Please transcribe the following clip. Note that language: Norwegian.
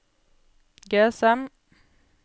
GSM